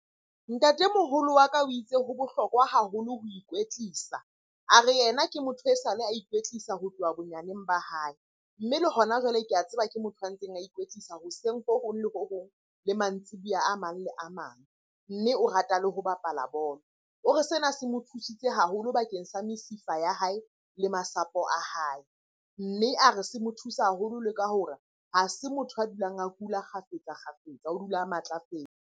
Ntatemoholo wa ka o itse ho bohlokwa haholo ho ikwetlisa. A re, yena ke motho e sale a ikwetlisa ho tloha bonyaneng ba hae. Mme le hona jwale ke a tseba ke motho a ntseng a ikwetlisa hoseng ho hong le ho hong le mantsiboya a mang le a mang. Mme o rata le ho bapala bolo. O re sena se mo thusitse haholo bakeng sa mesifa ya hae le masapo a hae. Mme a re, se mo thusa haholo le ka hore ha se motho a dulang a kula kgafetsa-kgafetsa, o dula o matlafetse.